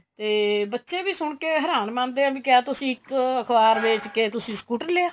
ਤੇ ਬੱਚੇ ਵੀ ਸੁਣ ਕੇ ਹੈਰਾਨ ਮਾਣਦੇ ਏ ਕਿਆ ਤੁਸੀਂ ਇੱਕ ਅਖਬਾਰ ਵੇਚ ਕੇ ਤੁਸੀਂ scooter ਲਿਆ